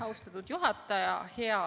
Austatud juhataja!